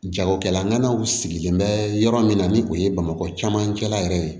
Jagokɛlaw sigilen bɛ yɔrɔ min na ni o ye bamakɔ camancɛla yɛrɛ ye